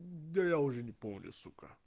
да я уже не помню сука